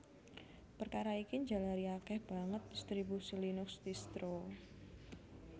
Perkara ini njalari akèh banget distribusi Linux distro